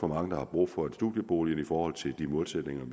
mange der har brug for en studiebolig altså i forhold til de målsætninger